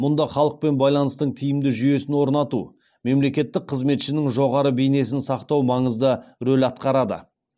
мұнда халықпен байланыстың тиімді жүйесін орнату мемлекеттік қызметшінің жоғары бейнесін сақтау маңызды рөл атқарады